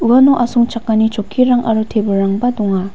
uano asongchakani chokkirang aro tebilrangba donga.